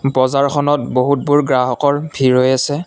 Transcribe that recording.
বজাৰখনত বহুতবোৰ গ্ৰাহকৰ ভিৰ হৈ আছে।